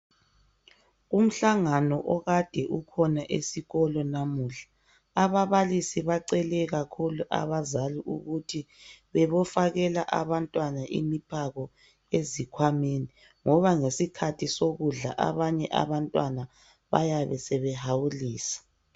Umhlangano okade ukhona esikolo namuhla ababalisi bacele kakhulu abazali ukuthi bebofakela abantwana imiphako ezikhwameni, ngoba ngesikhathi sokudla abanye abantwana bayabe sebehawulisa.